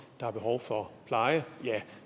der har behov for pleje ja